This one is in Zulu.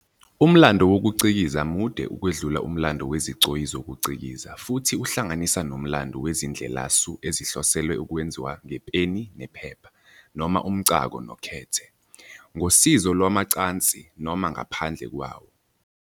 Umlando wokuCikiza mude ukwedlula umlando wezigcoyi zokucikiza futhi uhlanganisa nomlando wezindlelasu ezihloselwe ukwenziwa ngepeni nephepha, noma umcako nokhethe, ngosizo lwamacansi noma ngaphandle kwawo.